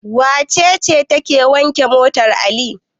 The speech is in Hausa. Wace ce take wanke motar Ali?